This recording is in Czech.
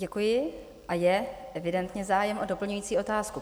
Děkuji a je evidentně zájem o doplňující otázku.